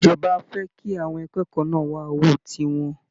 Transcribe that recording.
Ìjọba fẹ́ kí àwọn akẹ́kọ̀ọ́ náà wá owó tiwọn